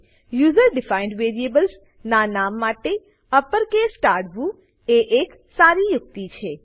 user defined variables ના નામ માટે અપરકેસ ટાળવું એ એક સારી યુક્તિ છે